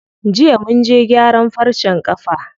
Jiya munje gyaran farcen ƙafa.